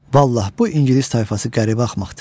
Vallah bu ingilis tayfası qəribə axmaqdır.